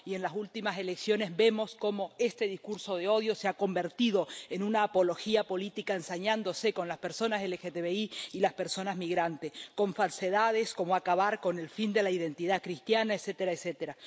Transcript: Y en las últimas elecciones vemos cómo este discurso del odio se ha convertido en una apología política, ensañándose con las personas LGTBI y las personas migrantes, con falsedades como acabar con el fin de la identidad cristiana, etcétera, etcétera.